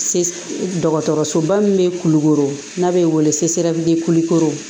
Dɔgɔtɔrɔsoba min bɛ kulukoro n'a bɛ wele